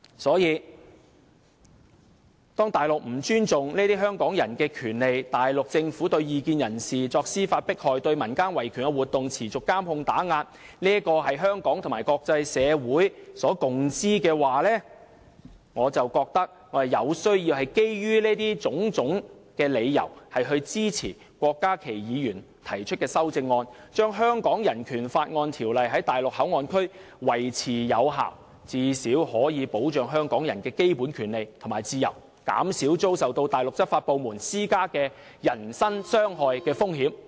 所以，當內地不尊重香港人這些權利，當內地政府對異見人士作司法迫害、對民間維權活動持續進行監控及打壓時——這是香港及國際社會所共知的——我覺得我必須基於上述種種理由，支持郭家麒議員提出的修正案，令《人權法案條例》在內地口岸區維持有效，最少可以保障香港人的基本權利和自由，減少他們遭受內地執法部門施加人身傷害的風險。